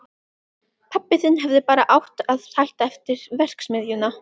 Pabbi þinn hefði bara átt að hætta eftir verksmiðjuna.